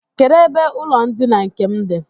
Kedụ ebe ụlọndina nke m dị?